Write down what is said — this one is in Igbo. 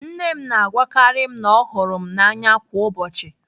Nne m na-agwakarị m na ọ hụrụ m n'anya kwa ụbọchị.